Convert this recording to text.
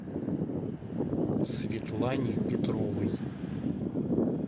светлане петровой